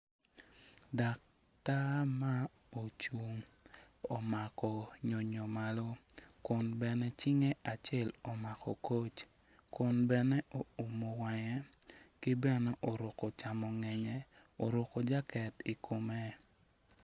Dak tar ma orung omako nyonyo malo kun bene cinge acel omako koc kun bene oumo wange ki bene oruko camongenye oruko jaket i kome.